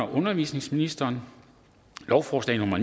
undervisningsministeren lovforslag nummer